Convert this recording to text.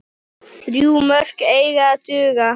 Þrjú mörk eiga að duga.